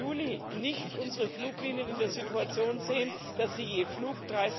1. Juli nicht unsere Fluglinien in der Situation sehen, dass sie je Flug